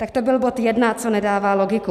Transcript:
Tak to byl bod jedna, co nedává logiku.